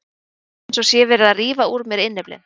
Mér finnst eins og sé verið að rífa úr mér innyflin.